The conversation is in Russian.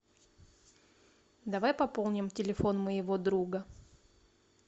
давай пополним телефон моего друга